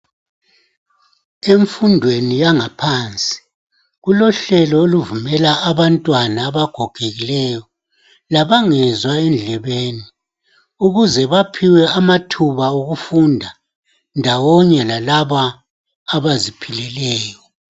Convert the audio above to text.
Emfundweni yangaphansi kulohlelo oluvumela abantwana abagogekileyo labangezwa endlebeni ukuze baphiwe amathuba okufunda ndawonye lalaba abaziphileleyo.